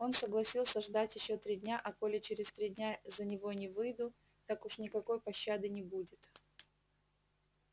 он согласился ждать ещё три дня а коли через три дня за него не выйду так уж никакой пощады не будет